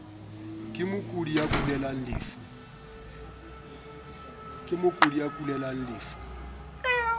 ka mokudi ya kulelang lefu